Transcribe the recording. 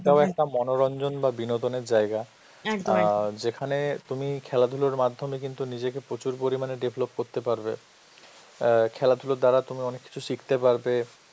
এটাও একটা মনোরঞ্জন বা বিনোদনের জায়গা, অ্যাঁ যেখানে তুমি খেলাধুলার মাধ্যমে কিন্তু নিজেকে প্রচুর পরিমাণে develop করতে পারবে, অ্যাঁ খেলাধুলার দ্বারা তুমি অনেক কিছু শিখতে পারবে,